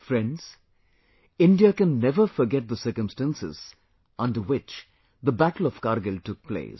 Friends, India can never forget the circumstances under which the battle of Kargil took place